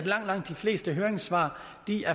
langt de fleste høringssvar